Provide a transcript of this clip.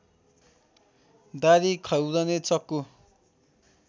दाह्री खौरने चक्कु